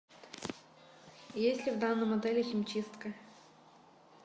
есть ли в данном отеле химчистка